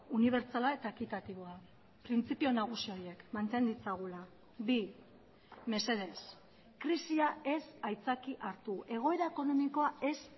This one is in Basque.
unibertsala eta ekitatiboa printzipio nagusi horiek manten ditzagula bi mesedez krisia ez aitzaki hartu egoera ekonomikoa ez